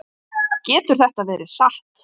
Getur þetta verið satt?